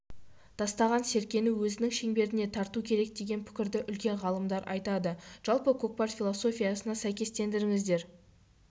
тастаған серкені өзінің шеңберіне тарту керек деген пікірді үлкен ғалымдар айтты жалпы көкпар философиясына сәйкестендіріңіздер